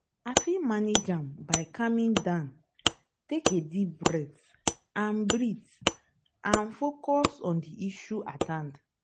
i fit manage am by calming down take a deep breath and breath and focus on di issue at hand.